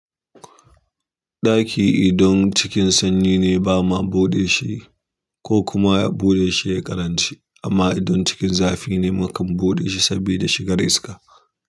Ɗaki idon cikin sanyi ne bama buɗe shi ko kuma ya buɗe shi ya ƙaranci amma idon cikin zafi ne mukan buɗe shi saboda shi gar iska.